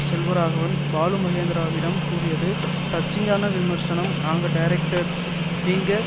செல்வராகவன் பாலுமகேந்திராவிடம் கூறியது டச்சிங்கான விமர்சனம் நாங்க டைரக்டர்ஸ் நீங்க